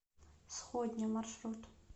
сходня маршрут